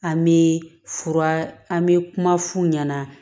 An bɛ fura an bɛ kuma f'u ɲɛna